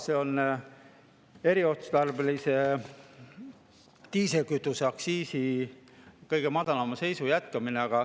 See on eriotstarbelise diislikütuse aktsiisi kõige madalama seisu jätkamine.